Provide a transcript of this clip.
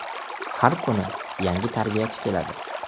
Har kuni yangi tarbiyachi keladi.